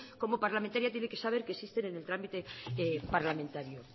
como parlamentario tiene que saber que existen en el trámite parlamentario